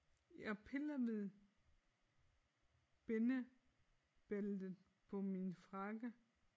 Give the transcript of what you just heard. Jeg piller ved bindebæltet på min frakke